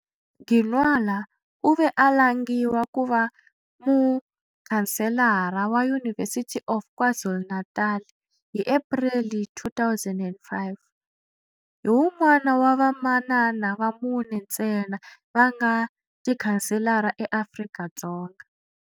Ginwala u ve a langiwa ku va muchanselara wa University of KwaZulu-Natal hi Epreli 2005. Hi wun'wana wa vamanana va mune ntsena va nga Tichanselara eAfrika-Dzonga.